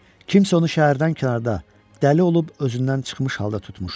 kimsə onu şəhərdən kənarda dəli olub özündən çıxmış halda tutmuşdu.